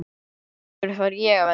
Af hverju þarf ég að velja?